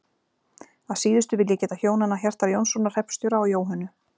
Að síðustu vil ég geta hjónanna Hjartar Jónssonar hreppstjóra og Jóhönnu